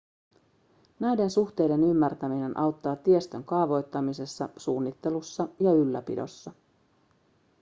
näiden suhteiden ymmärtäminen auttaa tiestön kaavoittamisessa suunnittelussa ja ylläpidossa